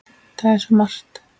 Það er svo margt!